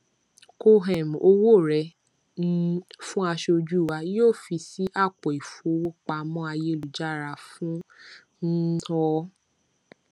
kó um owó rẹ um fún aṣojú wá yóò fi sí apoifowopamo ayélujára fún um ọ